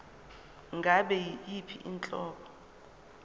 ngabe yiyiphi inhlobo